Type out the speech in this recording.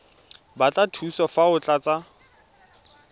batla thuso fa o tlatsa